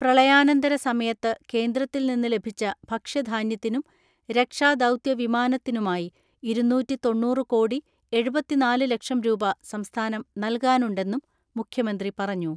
പ്രളയാനന്തര സമയത്ത് കേന്ദ്രത്തിൽ നിന്ന് ലഭിച്ച ഭക്ഷ്യധാന്യത്തിനും രക്ഷാദൗത്യവിമാനത്തിനുമായി ഇരുന്നൂറ്റിതൊണ്ണൂറ് കോടി എഴുപത്തിനാല് ലക്ഷം രൂപ സംസ്ഥാനം നൽകാനുണ്ടെന്നും മുഖ്യമന്ത്രി പറഞ്ഞു.